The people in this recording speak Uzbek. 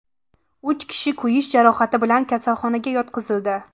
Uch kishi kuyish jarohati bilan kasalxonaga yotqizildi.